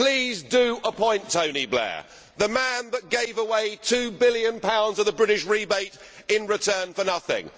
Please do appoint Tony Blair, the man that gave away GBP 2 billion of the British rebate in return for nothing